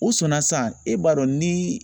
U sɔnna sisan, e b'a dɔn ni